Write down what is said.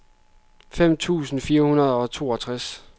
fem tusind fire hundrede og toogtres